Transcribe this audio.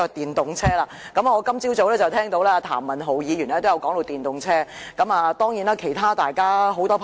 我今早聽到譚文豪議員談及電動車，當然，其他議員也十分關注。